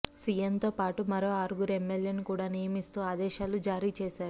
సీఎంతో పాటు మరో ఆరుగురు ఎమ్మెల్యేను కూడా నియమిస్తూ ఆదేశాలు జారీ చేసారు